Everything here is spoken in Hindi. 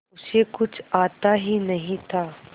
उसे कुछ आता ही नहीं था